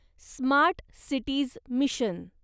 smart cities mission